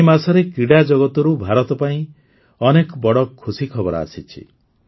ଏହି ମାସରେ କ୍ରୀଡ଼ାଜଗତରୁ ଭାରତ ପାଇଁ ଅନେକ ବଡ଼ ଖୁସି ଖବର ଆସିଛି